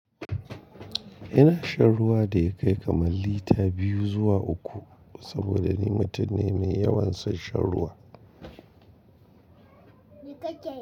Ina shan ruwa da ya kai kamar lita biyu zuwa uku saboda ni mutum ne mai yawan son shan ruwa. Ni take.